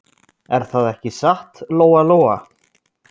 Er það ekki satt, Lóa-Lóa?